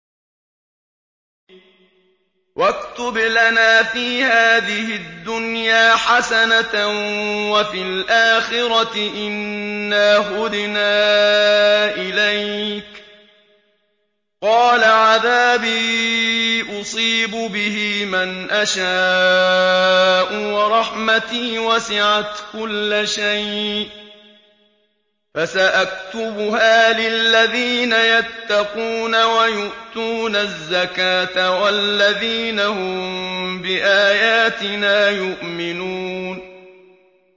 ۞ وَاكْتُبْ لَنَا فِي هَٰذِهِ الدُّنْيَا حَسَنَةً وَفِي الْآخِرَةِ إِنَّا هُدْنَا إِلَيْكَ ۚ قَالَ عَذَابِي أُصِيبُ بِهِ مَنْ أَشَاءُ ۖ وَرَحْمَتِي وَسِعَتْ كُلَّ شَيْءٍ ۚ فَسَأَكْتُبُهَا لِلَّذِينَ يَتَّقُونَ وَيُؤْتُونَ الزَّكَاةَ وَالَّذِينَ هُم بِآيَاتِنَا يُؤْمِنُونَ